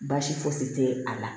Baasi fosi tɛ a la